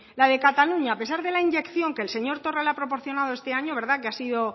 la de cataluña a pesar de la inyección que el señor torra le ha proporcionado este año que ha sido